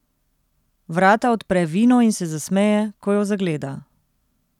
Vrata odpre Vino in se zasmeje, ko jo zagleda.